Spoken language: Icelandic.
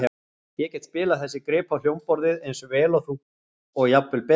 Ég get spilað þessi grip á hljómborðið eins vel og þú og jafnvel betur.